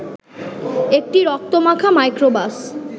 একটি রক্তমাখা মাইক্রোবাস